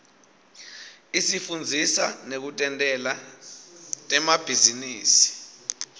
isifundzisa nekutentela temabhizinisi